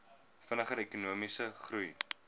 vinniger ekonomiese groei